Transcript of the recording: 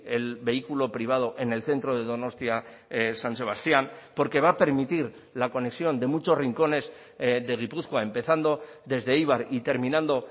el vehículo privado en el centro de donostia san sebastián porque va a permitir la conexión de muchos rincones de gipuzkoa empezando desde eibar y terminando